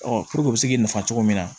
puruke u be se k'i nafa cogo min na